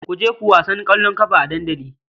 Ku je ku wasan ƙwallon ƙafa a dandali.